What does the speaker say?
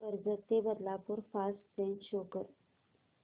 कर्जत ते Badlapur fast train show कर